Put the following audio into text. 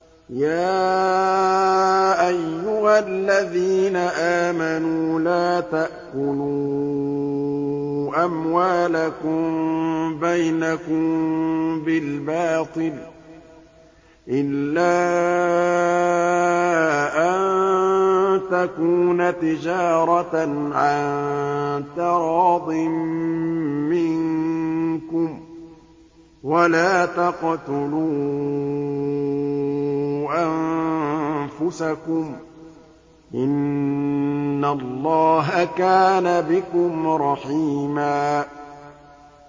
يَا أَيُّهَا الَّذِينَ آمَنُوا لَا تَأْكُلُوا أَمْوَالَكُم بَيْنَكُم بِالْبَاطِلِ إِلَّا أَن تَكُونَ تِجَارَةً عَن تَرَاضٍ مِّنكُمْ ۚ وَلَا تَقْتُلُوا أَنفُسَكُمْ ۚ إِنَّ اللَّهَ كَانَ بِكُمْ رَحِيمًا